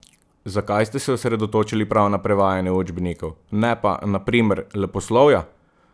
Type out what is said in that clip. Zakaj ste se osredotočili prav na prevajanje učbenikov, ne pa, na primer, leposlovja?